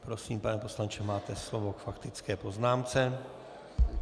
Prosím, pane poslanče, máte slovo k faktické poznámce.